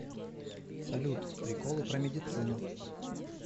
салют приколы про медицину